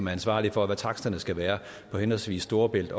er ansvarlige for hvad taksterne skal være for henholdsvis storebælt